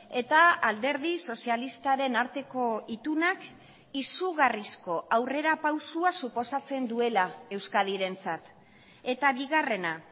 eta alderdi sozialistaren arteko itunak izugarrizko aurrera pausua suposatzen duela euskadirentzat eta bigarrena